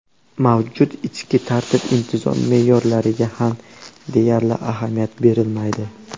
Mavjud ichki tartib-intizom me’yorlariga ham deyarli ahamiyat berilmaydi.